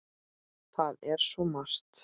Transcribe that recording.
Það er svo margt.